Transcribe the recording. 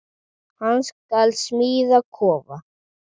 Hann skal smíða kofa.